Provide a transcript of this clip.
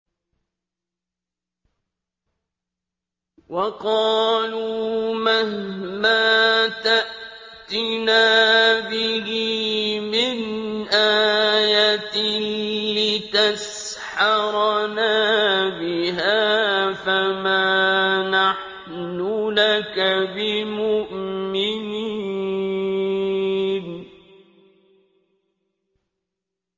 وَقَالُوا مَهْمَا تَأْتِنَا بِهِ مِنْ آيَةٍ لِّتَسْحَرَنَا بِهَا فَمَا نَحْنُ لَكَ بِمُؤْمِنِينَ